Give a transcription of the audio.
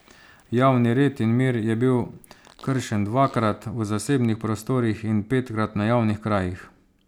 Javni red in mir je bil kršen dvakrat v zasebnih prostorih in petkrat na javnih krajih.